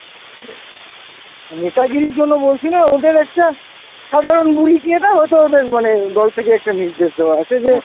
মানে নেতাগিরির জন্য বলছি না ওদের একটা সাধারণ বুলি কি একটা হয়তো ওদের মনে দল থেকে একটা নির্দেশ দেয়া আছে যে,